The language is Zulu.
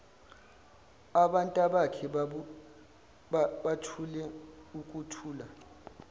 abantabakhe bathule ukuthula